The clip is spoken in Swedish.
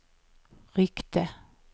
ryckte